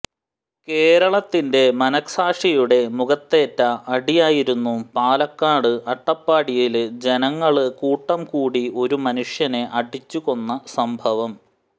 കേരളത്തിന്റെ മനസാക്ഷിയുടെ മുഖത്തേറ്റ അടിയായിരുന്നു പാലക്കാട് അട്ടപ്പാടിയില് ജനങ്ങള് കൂട്ടംകൂടി ഒരു മനുഷ്യനെ അടിച്ചുകൊന്ന സംഭവം